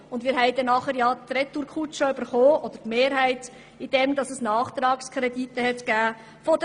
Die Mehrheit dieses Parlaments hat dann die Retourkutsche erhalten, indem Nachtragskredite der Regierung nötig wurden.